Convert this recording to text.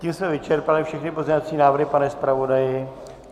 Tím jsme vyčerpali všechny pozměňovací návrhy, pane zpravodaji?